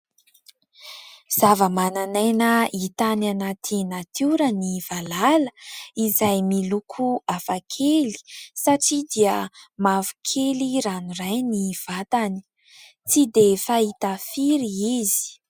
Zavamananaina hita any anaty natiora ny valala, izay miloko hafa kely satria dia mavokely ranoray ny vatany, tsy dia fahita firy izy.